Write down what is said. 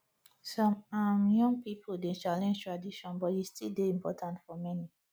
some um young pipo dey challenge tradition but e still dey important for many